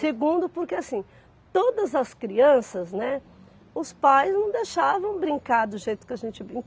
Segundo, porque assim, todas as crianças, né, os pais não deixavam brincar do jeito que a gente brin